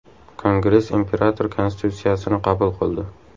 Kongress imperator konstitutsiyasini qabul qildi.